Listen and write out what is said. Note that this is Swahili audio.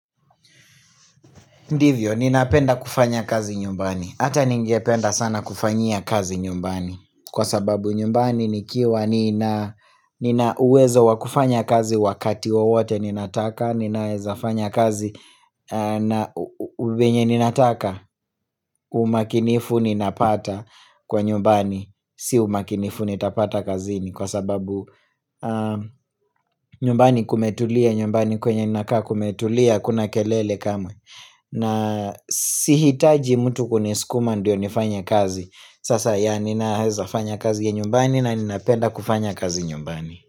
Ndivyo, ninapenda kufanya kazi nyumbani, hata ningependa sana kufanyia kazi nyumbani kwa sababu nyumbani nikiwa nina nina uwezo wakufanya kazi wakati wowote ninataka, ninaweza fanya kazi na vyenye ninataka, umakinifu ninapata kwa nyumbani, si umakinifu nitapata kazini kwa sababu nyumbani kumetulia, nyumbani kwenye ninakaa kumetulia, hakuna kelele kamwe na sihitaji mtu kuniskuma ndiyo nifanye kazi sasa ya ninaweza fanya kazi ya nyumbani na ninapenda kufanya kazi nyumbani.